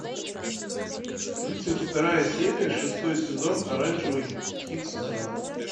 тридцать вторая серия шестой сезон оранжевый хит сезона